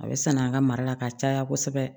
A bɛ sanna an ka mara la ka caya kosɛbɛ